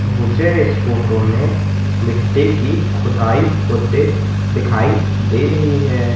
मुझे इस फोटो में मिट्टी की खुदाई होते दिखाई दे रही है।